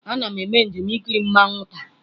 Ana m eme njem ikiri mmanwu taa.